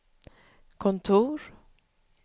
kontor